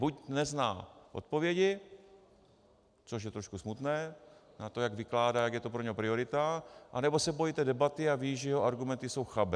Buď nezná odpovědi, což je trošku smutné na to, jak vykládá, jaká je to pro něho priorita, nebo se bojí té debaty a ví, že jeho argumenty jsou chabé.